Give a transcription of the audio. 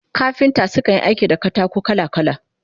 Kafinta su kan Yi aiki da katako kala kala